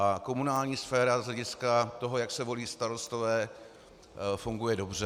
A komunální sféra z hlediska toho, jak se volí starostové, funguje dobře.